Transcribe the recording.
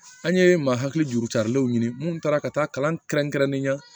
An ye ma hakili juru carilenw ɲini munnu taara ka taa kalan kɛrɛnkɛrɛnnen na